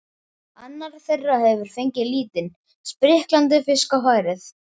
Annar þeirra hefur fengið lítinn, spriklandi fisk á færið.